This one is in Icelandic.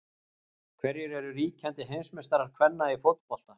Hverjir eru ríkjandi heimsmeistarar kvenna í fótbolta?